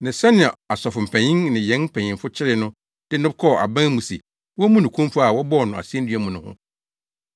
ne sɛnea asɔfo mpanyin ne yɛn mpanyimfo kyeree no de no kɔɔ aban mu se wommu no kumfɔ a wɔbɔɔ no asennua mu no ho.